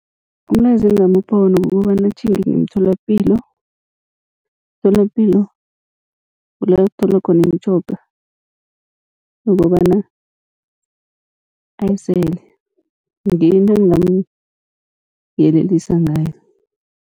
Umlayezo engingamupha wona kukobana atjhinge ngemtholapilo, emtholapilo kula kutholwa khona imitjhoga yokobana ayisele ngiyo into engingamuyelelisa ngayo.